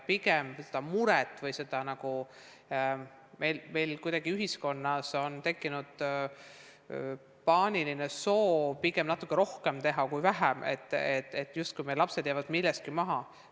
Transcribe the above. Pigem on meil kuidagi ühiskonnas tekkinud paaniline soov teha natukene rohkem kui vähem, on mure, justkui meie lapsed jääksid milleski maha.